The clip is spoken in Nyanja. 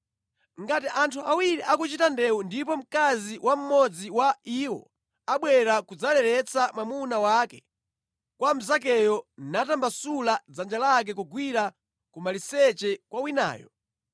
Ngati anthu awiri akuchita ndewu ndipo mkazi wa mmodzi wa iwo abwera kudzaleretsa mwamuna wake kwa mnzakeyo natambasula dzanja lake kugwira ku maliseche kwa winayo,